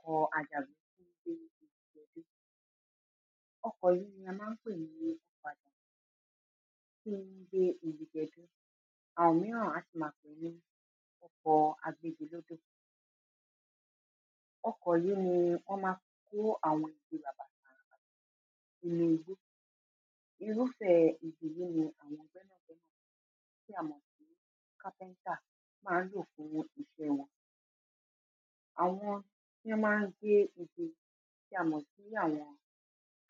ọkọ̀ àjàgbé tó ń gbé igi gẹdú, ọkọ̀ yìí a ma ń pè ní ọkọ̀ àjàgbé tí ó ń gbé igi gẹdú àwọn ìmíràn á sì ma pè ní ọkọ̀ agbégilódò. ọkọ̀ yí ni wọ́n ma ń fi kó àwọn igi ràbàtàràbàtà nínú igbó. irúfẹ́ igi yìí ni àwọn gbẹ́nàgbẹ́nà tí a mọ̀ sí carpenter ma ń lò fún iṣẹ́ wọn àwọn tí wọ́n ma ń gbé igi tí a mọ̀ sí